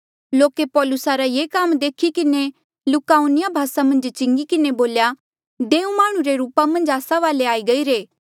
लोके पौलुसा रा ये काम देखी किन्हें लुकाउनिया भासा मन्झ चिंगी किन्हें बोल्या देऊ माह्णुं रे रूपा मन्झ आस्सा वाले आई गईरे